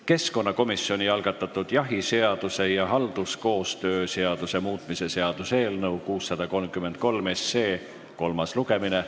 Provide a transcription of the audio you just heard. Keskkonnakomisjoni algatatud jahiseaduse ja halduskoostöö seaduse muutmise seaduse eelnõu 633 kolmas lugemine.